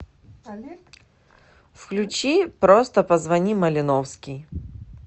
включи просто позвони малиновский